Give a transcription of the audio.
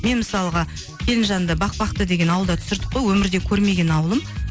мен мысалға келінжанды бақбақты деген ауылда түсірдік қой өмірде көрмеген ауылым